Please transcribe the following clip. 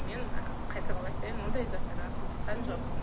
мен қайталап айтайын ондай заттарға қызыққан жоқпын